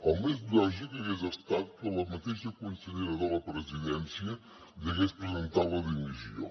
el més lògic hagués estat que la mateixa consellera de la presidència hagués presentat la dimissió